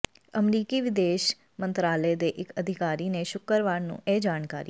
ਅਮਰੀਕੀ ਵਿਦੇਸ਼ ਮੰਤਰਾਲੇ ਦੇ ਇੱਕ ਅਧਿਕਾਰੀ ਨੇ ਸ਼ੁੱਕਰਵਾਰ ਨੂੰ ਇਹ ਜਾਣਕਾਰੀ